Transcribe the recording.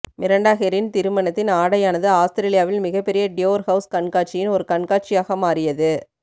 Miranda கெரின் திருமண ஆடையானது ஆஸ்திரேலியாவில் மிகப்பெரிய டியோர் ஹவுஸ் கண்காட்சியின் ஒரு கண்காட்சியாக மாறியது